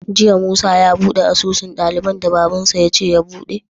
Jiya musa ya buɗe asusun daliban da baban shi yace ya buɗe?